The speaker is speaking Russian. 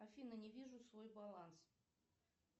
афина не вижу свой баланс